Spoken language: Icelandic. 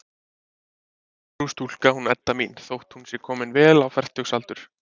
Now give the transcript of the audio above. Siðprúð stúlka, hún Edda mín, þótt hún sé komin vel á fertugsaldur.